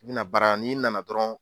N'i na na baara la, n'i nana dɔrɔnw